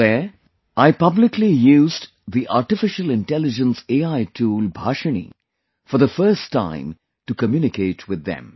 There I publicly used the Artificial Intelligence AI tool Bhashini for the first time to communicate with them